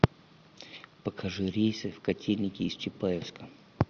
покажи рейсы в котельники из чапаевска